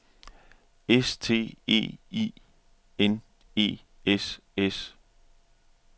S T E I N E S S